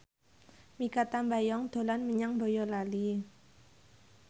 Mikha Tambayong dolan menyang Boyolali